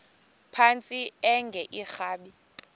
phantsi enge lrabi